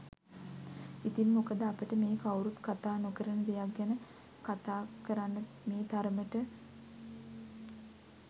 ඉතින් මොකද අපට මේ කවුරුත් කතා නොකරන දෙයක් ගැන කතා කරන්න මේ තරමට ඕනෑකමක්?